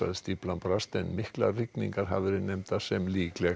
stíflan brast en miklar rigningar hafa verið nefndar sem líklegur